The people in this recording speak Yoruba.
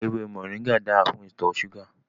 Ewé moringa dára fún ìtọ̀ súgà